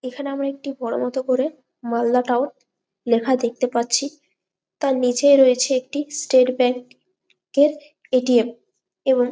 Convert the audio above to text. এখানে আমরা বড় মত করে মালদা টাউন লেখা দেখতে পাচ্ছি তার নিচে রয়েছে একটি স্টেট ব্যাংক এর এ. T .M. এবং --